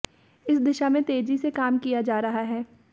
इस दिशा में तेजी से काम किया जा रहा है